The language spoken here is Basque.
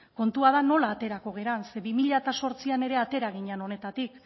kontua da nola aterako gara ze bi mila zortzian atera ginen honetatik